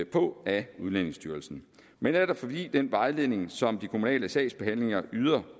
på af udlændingestyrelsen men netop fordi den vejledning som de kommunale sagsbehandlere yder